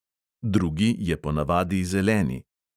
Drugi je ponavadi zeleni.